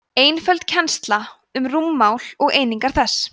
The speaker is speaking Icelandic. einföld kennsla um rúmmál og einingar þess